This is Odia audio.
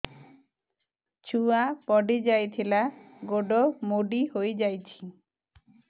ଛୁଆ ପଡିଯାଇଥିଲା ଗୋଡ ମୋଡ଼ି ହୋଇଯାଇଛି